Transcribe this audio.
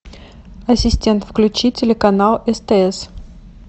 ассистент включи телеканал стс